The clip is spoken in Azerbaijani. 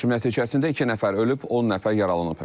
Hücum nəticəsində iki nəfər ölüb, 10 nəfər yaralanıb.